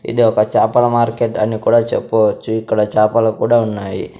ఇది ఒక చాపల మార్కెట్ అని కూడా చెప్పవచ్చు ఇక్కడ చాపలు కూడా ఉన్నాయి.